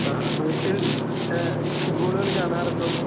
ആഹ് വീട്ടിൽ ഏഹ് ഫുട്ബോൾ കളി കാണാറുണ്ടോ? .